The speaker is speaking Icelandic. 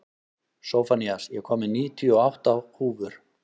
Sophanías, ég kom með níutíu og átta húfur!